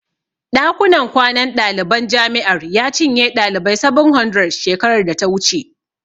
Ɗakunan kwanan daliban jami'ar ya cinye ɗalibai 700 shekarar data wuce.